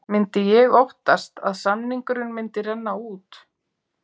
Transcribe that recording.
Myndi ég óttast að samningurinn myndi renna út?